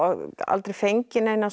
aldrei fengið neina